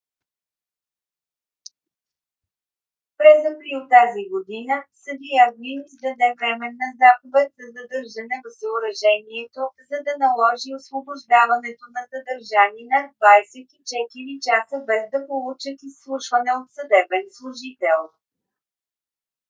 през април тази година съдия глин издаде временна заповед за задържане в съоръжението за да наложи освобождаването на задържани над 24 часа без да получат изслушване от съдебен служител